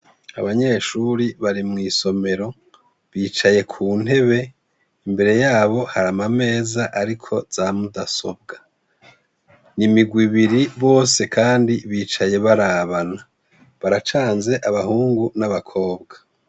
abanyeshuri bari mw' isomero bicaye ku ntebe imbere yabo hari amameza ariko zamudasobwa n'imigwi ibiri bose kandi bicaye barabana baracanze abahungu n'abakobwa